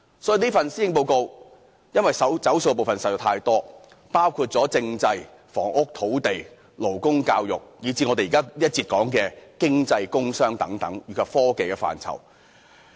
由於此份施政報告"走數"的部分實在太多，包括政制、房屋、土地、勞工、教育，以至我們在這一節談及的經濟、工商及科技範疇。